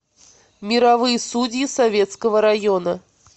мировые судьи советского района